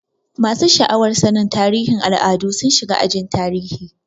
Masu sha'awar sannin tarihin al'adu sun shiga ajin tarihi.